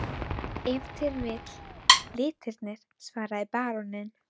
Ef til vill litirnir, svaraði baróninn.